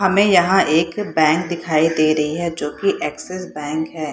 हमें यहाँ एक बैंक दिखाई दे रही है जो की एक्सेस बैंक है।